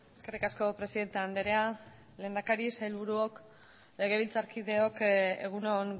eskerrik asko presidente andrea lehendakari sailburuok legebiltzarkideok egun on